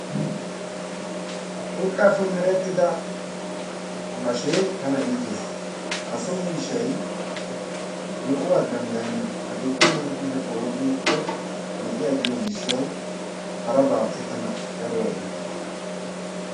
Urqqappe merettidda bashshee tana iittees ha so miishshay me'uwa danddayenna akeekkena kushshiyappe wudhdhi agikko me'i agiyo gishshawu harabaappe tana daro iittees.